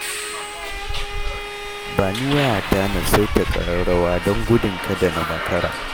Ba ni wayata na saita ƙararrawa don gudun kada na makara.